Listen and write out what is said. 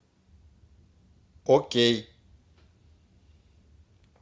окей